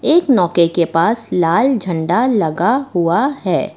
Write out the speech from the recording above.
एक नौके के पास लाल झंडा लगा हुआ है।